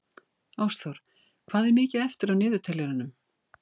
Ástþór, hvað er mikið eftir af niðurteljaranum?